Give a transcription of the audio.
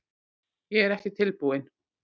Ég er ekki tilbúinn.